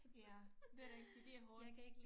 Ja det er rigtigt det er hårdt